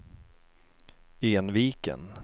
Enviken